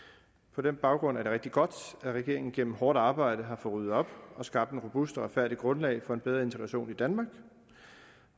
på den baggrund er det rigtig godt at regeringen gennem hårdt arbejde har fået ryddet op og skabt et robust og retfærdigt grundlag for en bedre integration i danmark